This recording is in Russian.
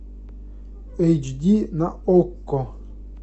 эйч ди на окко